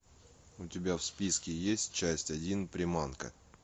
у тебя в списке есть часть один приманка